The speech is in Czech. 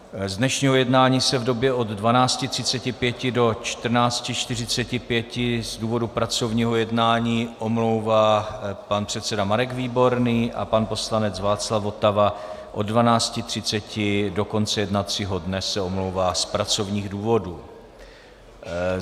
Z dnešního jednání se v době od 12.35 do 14.45 z důvodu pracovního jednání omlouvá pan předseda Marek Výborný a pan poslanec Václav Votava od 12.30 do konce jednacího dne se omlouvá z pracovních důvodů.